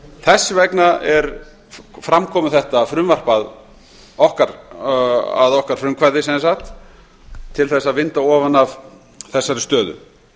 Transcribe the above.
þess vegna er fram komið þetta frumvarp að okkar frumkvæði sem sagt til að vinda ofan af þessari stöðu